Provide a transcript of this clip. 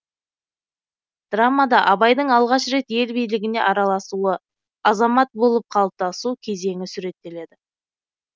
драмада абайдың алғаш рет ел билігіне араласуы азамат болып қалыптасу кезеңі суреттеледі